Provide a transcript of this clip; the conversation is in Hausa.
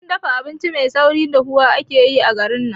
Wurin dafa abinci mai saurin dafuwa ake yayi a garin nan